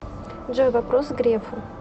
джой вопрос грефу